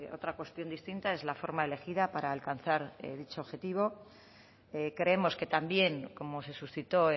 otra cuestión distinta es la forma elegida para alcanzar dicho objetivo creemos que también como se suscitó